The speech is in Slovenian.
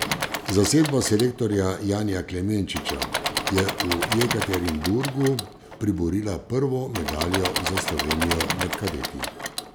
Zasedba selektorja Janija Klemenčiča je v Jekaterinburgu priborila prvo medaljo za Slovenijo med kadeti.